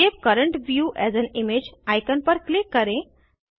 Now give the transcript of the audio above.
save current view as an image icon पर click करें